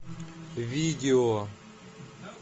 видео